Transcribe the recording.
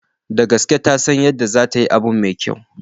Da gaske, tasan yadda zatayi abu mai kyau.